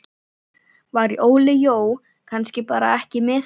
Var Óli Jó kannski bara ekki með þetta?